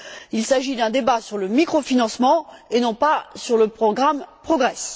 Il s'agit d'un débat sur le microfinancement et non pas sur le programme Progress.